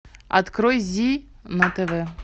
открой зи на тв